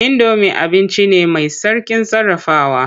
Indomi abinci ne mai sauƙin sarrafawa.